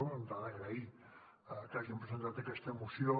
d’entrada agrair que hagin presentat aquesta moció